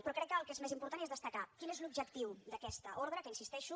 però crec que el que és més important és destacar quin és l’objectiu d’aquesta ordre que hi insisteixo